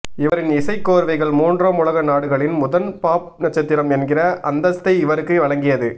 இவரின் இசைக்கோர்வைகள் மூன்றாம் உலக நாடுகளின் முதல் பாப் நட்சத்திரம் என்கிற அந்தஸ்தை இவருக்கு வழங்கியது